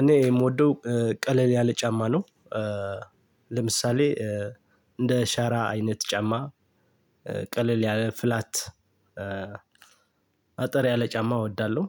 እኔ የምወደው ቀለል ያለ ጫማ ነው። ለምሳሌ እንደ ሻራ አይነት ጫማ ቀለል ያለ ፍላት። አጠር ያለ ጫማ እወዳለሁ።